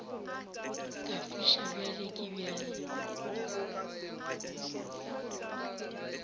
ka fiša bjang le bjang